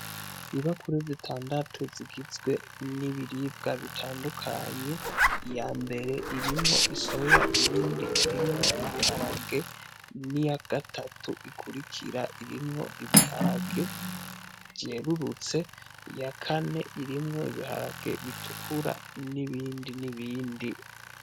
Ibakure zitandatu zigizwe n'ibiribwa bitandukanye iyambere irimwo isoya, iyindi irimwo ibiharage, n'iyagatatu ikurikira irimwo ibiharage vyerurutse, iyakane irimwo ibiharage bitukura, n'ibindi n'ibindi.